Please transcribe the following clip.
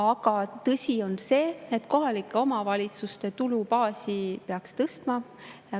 Aga tõsi on see, et kohalike omavalitsuste tulubaasi peaks tõstma.